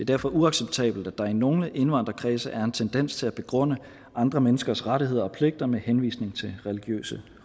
derfor uacceptabelt at der i nogle indvandrerkredse er en tendens til at begrunde andre menneskers rettigheder og pligter med henvisning til religiøse